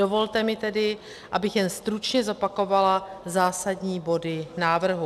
Dovolte mi tedy, abych jen stručně zopakovala zásadní body návrhu.